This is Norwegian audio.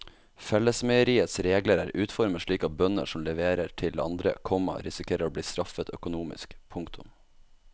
Fellesmeieriets regler er utformet slik at bønder som leverer til andre, komma risikerer å bli straffet økonomisk. punktum